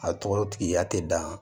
A tɔgɔ tigiya tɛ dan